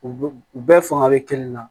U u bɛɛ fanga bɛ kelen na